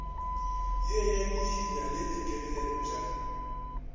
ye ya dihinya le dikenepša